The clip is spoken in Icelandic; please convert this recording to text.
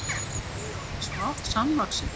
Voru þau orðin samvaxin?